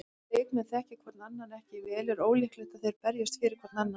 Ef leikmenn þekkja hvorn annan ekki vel er ólíklegt að þeir berjist fyrir hvorn annan.